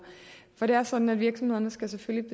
for det er sådan at virksomhederne selvfølgelig